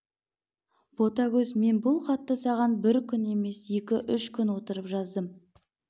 ботагөз мен бұл хатты саған бір күн емес екі-үш күн отырып жаздым